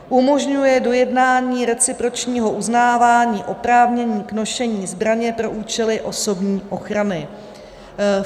Umožňuje dojednání recipročního uznávání oprávnění k nošení zbraně pro účely osobní ochrany.